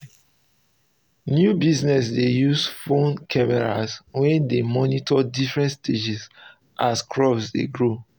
new business dey use phones camera wey dey monitor different stages as crops dey grow